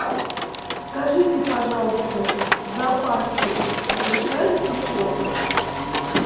скажите пожалуйста в зоопарке разрешается фото